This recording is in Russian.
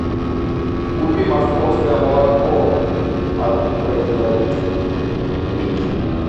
купи московское молоко от производителя литр